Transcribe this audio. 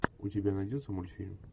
у тебя найдется мультфильм